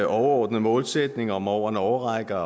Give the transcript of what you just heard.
overordnede målsætning om over en årrække